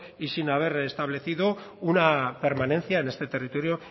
y sin haber establecido una permanencia en este territorio